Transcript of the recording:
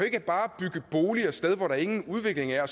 ikke bare bygge boliger et sted hvor der ingen udvikling er